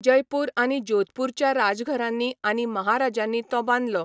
जयपूर आनी जोधपूरच्या राजघरांनी आनी महाराजांनी तो बांदलो.